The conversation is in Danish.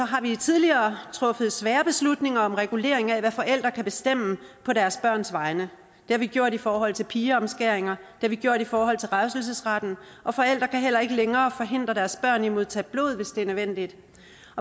har vi tidligere truffet svære beslutninger om regulering af hvad forældre kan bestemme på deres børns vegne det har vi gjort i forhold til pigeomskæringer har vi gjort i forhold til revselsesretten og forældre kan heller ikke længere forhindre deres børn i at modtage blod hvis det er nødvendigt